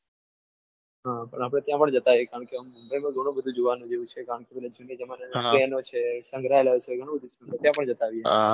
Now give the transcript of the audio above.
હા પણ આપડે ત્યાં અન જતા આવીએ કારણ કે મુંબઈ માં ગણું બધું જોવાનું જેવું છે કારણ કેજુના જમાના ના પેનો છે સંગ્રાલયો છે ગણું બધું છે ત્યાં પણ જતા આવીએ.